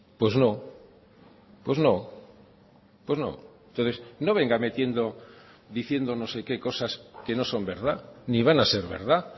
pues no pues no pues no entonces no venga metiendo diciendo no sé qué cosas que no son verdad ni van a ser verdad